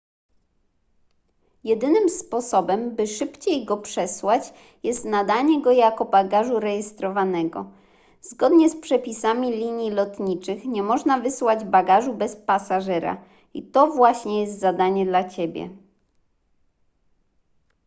jedynym sposobem by szybciej go przesłać jest nadanie go jako bagażu rejestrowanego zgodnie z przepisami linii lotniczych nie można wysłać bagażu bez pasażera i to właśnie jest zadanie dla ciebie